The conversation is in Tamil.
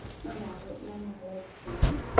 நா நாலு நா நாலாவது பொண்ணு